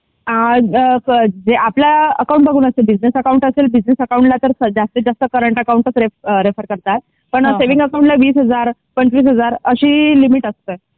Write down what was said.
आ आ आपल्या अकाउंट बघून असते जसा आपला अकाउंट असेल बिसनेस अकाउंट असेल तर जास्तीत जास्त करंट अकाउंट चा रेफेर करतात पण स्विंग अकाउंट ला वीस हजार पंचवीस हजार अशी लिमिट असते.